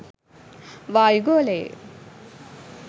වායු ගොලයෙ